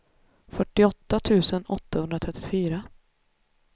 fyrtioåtta tusen åttahundratrettiofyra